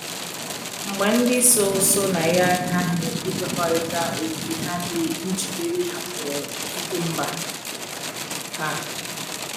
Mba ndị so so na ya aghaghị ikwekọrịta ókè ha dị njikere ịhapụru ikike mba ha.